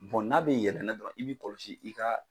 Bon n'a bɛ yɛlɛnnen don i bɛ kɔlɔsi i ka